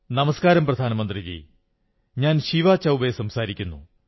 നമസ്കാരം പ്രധാനമന്ത്രിജീ ഞാൻ ശിവാ ചൌബേ സംസാരിക്കുന്നു